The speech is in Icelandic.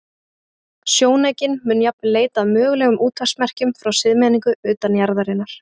Sjónaukinn mun jafnvel leita að mögulegum útvarpsmerkjum frá siðmenningu utan jarðarinnar.